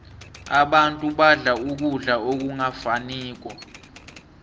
abantu badla ukudla okungafaniko